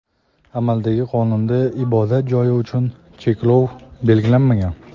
amaldagi qonunda ibodat joyi uchun cheklov belgilanmagan.